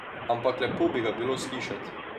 Ampak lepo bi ga bilo slišati.